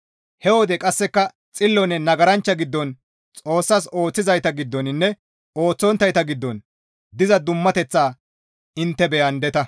He wode qasseka xillonne nagaranchcha giddon Xoossas ooththizayta giddoninne ooththonttayta giddon diza dummateththa intte beyandeta.